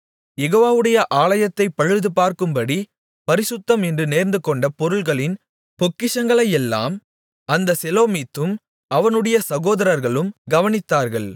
யெகோவாவுடைய ஆலயத்தைப் பழுது பார்க்கும்படி பரிசுத்தம் என்று நேர்ந்துகொண்ட பொருள்களின் பொக்கிஷங்களையெல்லாம் அந்த செலோமித்தும் அவனுடைய சகோதரர்களும் கவனித்தார்கள்